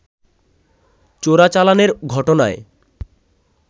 চোরাচালানের ঘটনায়